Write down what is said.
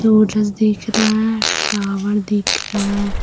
सूरज दिख रहा है टावर दिख रहा है।